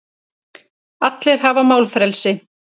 Allir hafa málfrelsi.